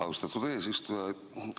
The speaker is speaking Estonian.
Austatud eesistuja!